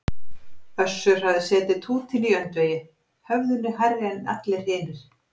Össur hafði setið tútinn í öndvegi, höfðinu hærri en allir hinir.